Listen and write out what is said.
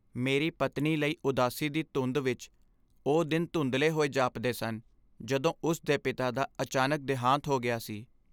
ਮੇਰੀ ਪਤਨੀ ਲਈ ਉਦਾਸੀ ਦੀ ਧੁੰਦ ਵਿਚ ਉਹ ਦਿਨ ਧੁੰਦਲੇ ਹੋਏ ਜਾਪਦੇ ਸਨ ਜਦੋਂ ਉਸ ਦੇ ਪਿਤਾ ਦਾ ਅਚਾਨਕ ਦਿਹਾਂਤ ਹੋ ਗਿਆ ਸੀ।